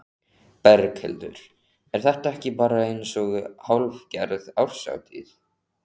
Berghildur: Er þetta ekki bara eins og hálfgerð árshátíð?